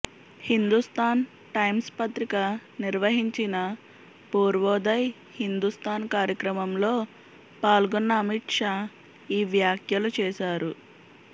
Hindustan Times పత్రిక నిర్వహించిన పూర్వోదయ్ హిందుస్తాన్ కార్యక్రమంలో పాల్గొన్న అమిత్ షా ఈ వ్యాఖ్యలు చేశారు